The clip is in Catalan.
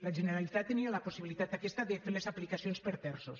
la generalitat tenia la possibilitat aquesta de fer les aplicacions per terços